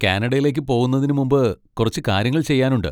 കാനഡയിലേക്ക് പോവുന്നതിന് മുമ്പ് കുറച്ച് കാര്യങ്ങൾ ചെയ്യാനുണ്ട്.